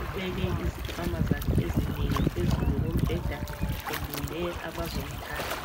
ubeke izikhwama zakhe ezinengi phezulu kombheda, elinde abazo umthatha.